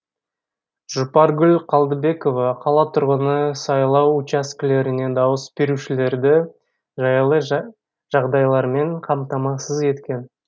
жұпаргүл қалдыбекова қала тұрғыны сайлау учаскелерінде дауыс берушілерді жайлы жағдайлармен қамтамасыз еткен